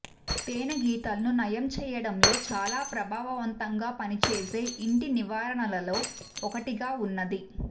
తేనే గీతలను నయం చేయటంలో చాలా ప్రభావవంతంగా పనిచేసే ఇంటి నివారణలలో ఒకటిగా ఉన్నది